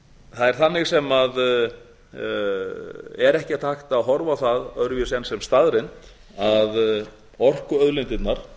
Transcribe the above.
er þannig sem er ekkert hægt að horfa á það öðruvísi en sem staðreynd að orkuauðlindirnar